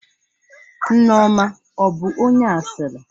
Nneoma ọ bụ onye asịrị?